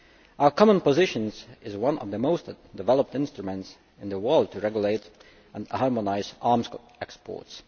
Our common position is one of the most developed instruments in the world to regulate and harmonise arms exports.